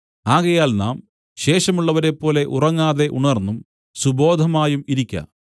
ആകയാൽ നാം ശേഷമുള്ളവരെപ്പോലെ ഉറങ്ങാതെ ഉണർന്നും സുബോധമായും ഇരിക്ക